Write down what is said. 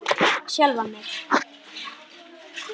Sjálfan mig?